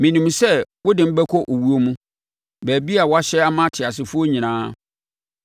Menim sɛ wode me bɛkɔ owuo mu, baabi a woahyɛ ama ateasefoɔ nyinaa.